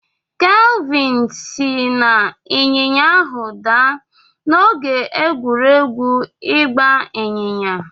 Kelvin si n'ịnyịnya ahụ daa n'oge egwuregwu ịgba ịnyịnya.